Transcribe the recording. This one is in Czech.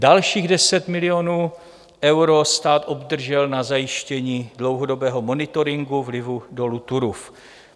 Dalších 10 milionů eur stát obdržel na zajištění dlouhodobého monitoringu vlivu dolu Turów.